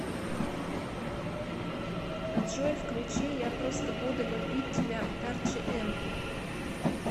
джой включи я просто буду любить тебя арчи эм